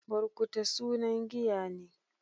Burkuta sunan giya ne.